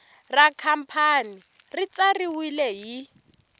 ra khampani ri tsariwile hi